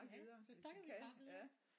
Ja så skal vi vel bare videre